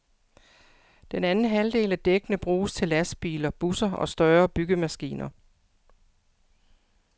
Den anden halvdel af dækkene bruges til lastbiler, busser og større byggemaskiner.